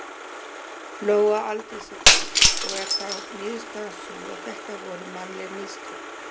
Lóa Aldísardóttir: Og er þá niðurstaðan sú að þetta voru mannleg mistök?